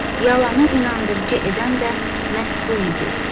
Yalanı inandırıcı edən də məhz bu idi.